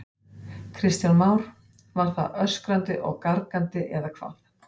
Kristján Már: Var það öskrandi og gargandi eða eitthvað?